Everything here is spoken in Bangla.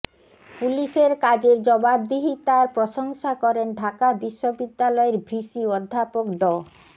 পুলিশের কাজের জবাবদিহিতার প্রশংসা করেন ঢাকা বিশ্ববিদ্যালয়ের ভিসি অধ্যাপক ড